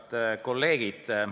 Head kolleegid!